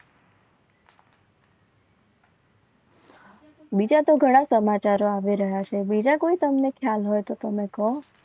બીજા તો ઘણા સમાચાર આવી રહ્યા છે. બીજા કોઈ તમને ખ્યાલ હોય તો તમે કહો.